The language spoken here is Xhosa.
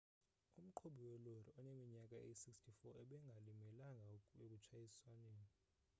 umqhubi welori oneminyaka eyi-64 ebengalimelanga ekutshayisweni